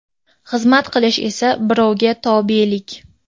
xizmat qilish esa - birovga tobelik.